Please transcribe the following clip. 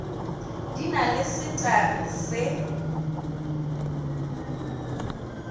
di na le setagi se